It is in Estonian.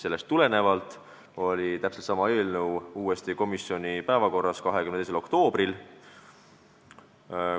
Sellest tulenevalt oli sama eelnõu uuesti komisjoni päevakorras 22. oktoobril.